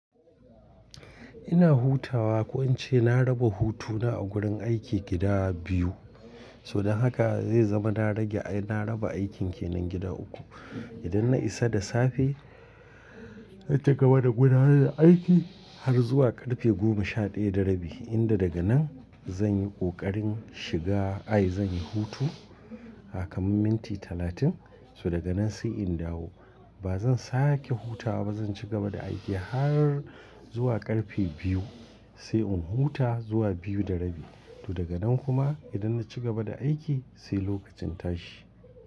Ina hutawa, ko in ce na raba hutuna a gurin aiki gida biyu. Toh dan haka zai zama na rage ai na raba aikin kenan gida uku. Idan na isa da safe, na ci gaba da gudanar da aiki har zuwa karfe goma sha ɗaya da rabi, inda daga nan zan yi ƙoƙarin shiga ai zan yi hutu, aa kamar minti talatin. So daga nan sai in dawo. Ba zan sake hutawa ba, zan ci gaba da aiki har zuwa ƙarfe biyu sai in huta zuwa biyu da rabi. To daga nan kuma idan na ci gaba da aiki sai lokacin tashi.